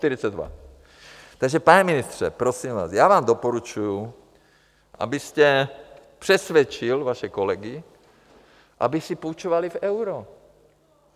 Takže pane ministře, prosím vás, já vám doporučuju, abyste přesvědčil vaše kolegy, aby si půjčovali v eurech.